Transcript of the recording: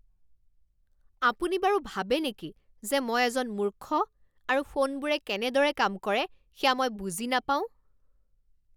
আপুনি বাৰু ভাবে নেকি যে মই এজন মূৰ্খ আৰু ফোনবোৰে কেনেদৰে কাম কৰে সেয়া মই বুজি নাপাওঁ?